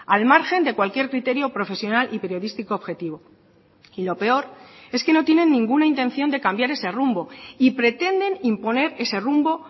al margen de cualquier criterio profesional y periodístico objetivo y lo peor es que no tienen ninguna intención de cambiar ese rumbo y pretenden imponer ese rumbo